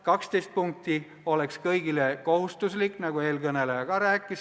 12 punkti eest keeleõpet oleks kõigile kohustuslik, nagu ka eelkõneleja rääkis.